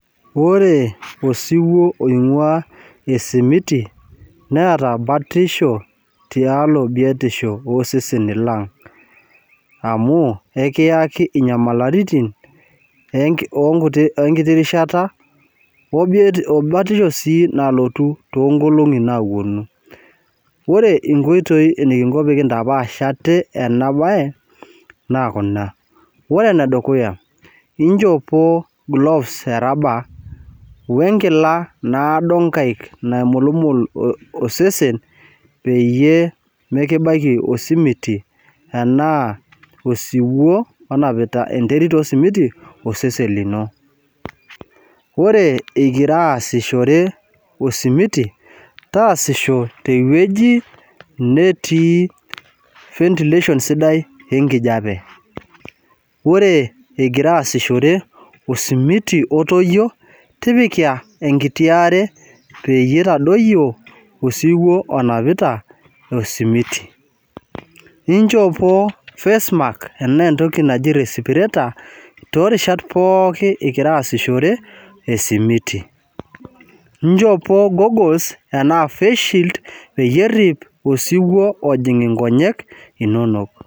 Ore osiwuo oing'ua osimiti neata batisho tialo biotisho oseseni lang'. Amu ekiaki inyamaliritin enkiti rishata, o batisho sii nalotu too nkolong'i naawuonu. Ore inkoitoi neking'o pee kintapash aate ena baye, naa kuna. Ore ene dukuya injopo gloves erubber we enkila naimulmul osesen peyie mekibaiki osimiti anaa osiwuo onapita enterit osimiti asesen lino. Ore ingira aasishore osimiti, taasishore ewueji sidai natii ventilation sidai enkijape. Ore ingira aasishore osimiti otoiyo, tipika enkiti aare peyie eitadoiyo osiwu onapita esimiti. Injopo face mask ashu entoki naji respirator too irishat pookin igira aasishore esimiti. Injopo goggles ashu face shield peyie erip inkonyek inono.